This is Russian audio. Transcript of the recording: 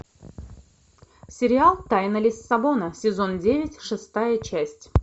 сериал тайна лиссабона сезон девять шестая часть